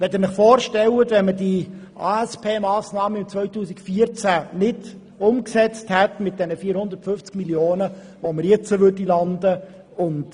Stellen Sie sich vor, wo wir heute stünden, wenn wir die ASPMassnahmen 2014 nicht umgesetzt und die 450 Mio. Franken nicht eingespart hätten!